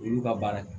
Olu ka baara ye